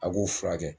A k'u furakɛ